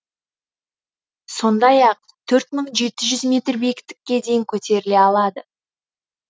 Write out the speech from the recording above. сондай ақ төрт мың жеті жүз метр биіктікке дейін көтеріле алады